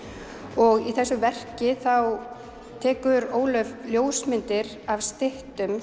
og í þessu verki þá tekur Ólöf ljósmyndir af styttum